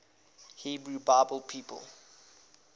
hebrew bible people